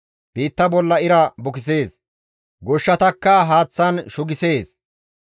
Biitta bolla ira bukisees; goshshatakka haaththan shugisees.